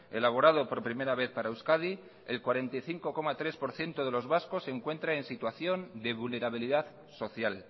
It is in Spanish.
elaborado por primera vez para euskadi el cuarenta y cinco coma tres por ciento de los vascos se encuentra en situación de vulnerabilidad social